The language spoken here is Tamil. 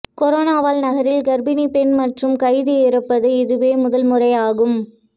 கொரோனாவால் நகரில் கர்ப்பிணிப் பெண் மற்றும் கைதி இறப்பது இதுவே முதல் முறையாகும்